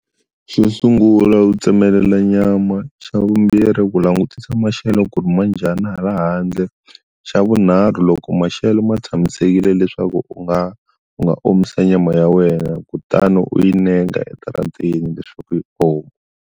Xo sungula u tsemelela nyama xa vumbirhi ku langutisa maxelo ku ri ma njhani hala handle xa vunharhu loko maxelo ma tshamisekile leswaku u nga u nga omisa nyama ya wena kutani u yi neka edarateni leswaku yi oma.